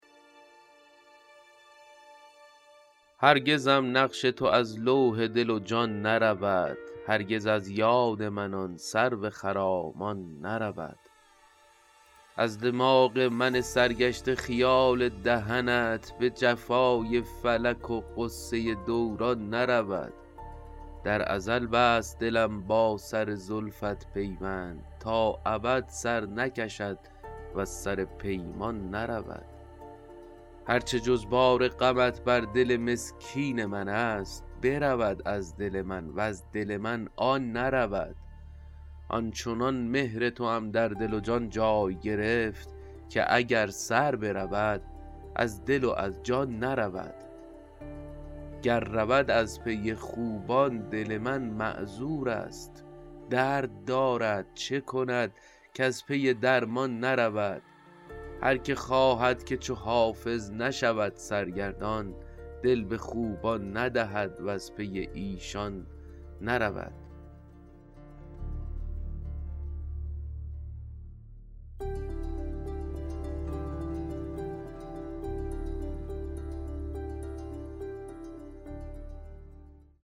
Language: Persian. هرگزم نقش تو از لوح دل و جان نرود هرگز از یاد من آن سرو خرامان نرود از دماغ من سرگشته خیال دهنت به جفای فلک و غصه دوران نرود در ازل بست دلم با سر زلفت پیوند تا ابد سر نکشد وز سر پیمان نرود هر چه جز بار غمت بر دل مسکین من است برود از دل من وز دل من آن نرود آن چنان مهر توام در دل و جان جای گرفت که اگر سر برود از دل و از جان نرود گر رود از پی خوبان دل من معذور است درد دارد چه کند کز پی درمان نرود هر که خواهد که چو حافظ نشود سرگردان دل به خوبان ندهد وز پی ایشان نرود